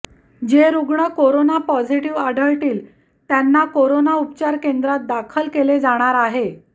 जे रुग्ण corona positive आढळतील त्यांना कोरोना उपचार केंद्रात दाखल केले जाणार आहे